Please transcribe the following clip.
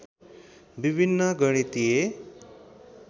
विभिन्न गणितीय